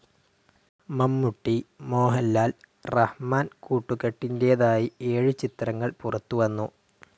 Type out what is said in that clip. മമ്മൂട്ടി, മോഹൻലാൽ, റഹ്മാൻ കൂട്ടുകെട്ടിന്റേതായി ഏഴ് ചിത്രങ്ങൾ പുറത്തുവന്നു.